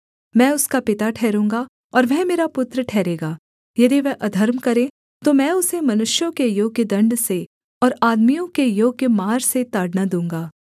मैं उसका पिता ठहरूँगा और वह मेरा पुत्र ठहरेगा यदि वह अधर्म करे तो मैं उसे मनुष्यों के योग्य दण्ड से और आदमियों के योग्य मार से ताड़ना दूँगा